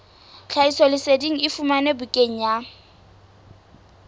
tlhahisoleseding e fumanwe bukaneng ya